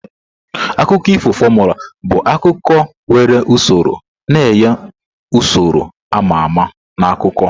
Akụkọ ifo formula bụ akụkọ nwere usoro, na-enye usoro a ma ama na akụkọ.